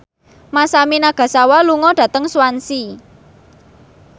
Masami Nagasawa lunga dhateng Swansea